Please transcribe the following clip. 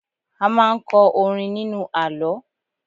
A máa ń kọ orin nínú àlọ́